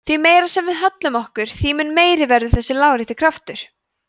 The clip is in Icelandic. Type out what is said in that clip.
því meira sem við höllum okkur þeim mun meiri verður þessi lárétti kraftur